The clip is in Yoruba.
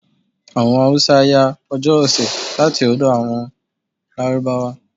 Àwọn Hausa yá Ọjọ́ ọ̀sẹ̀ láti ọ̀dọ̀ àwọn Lárúbáwá.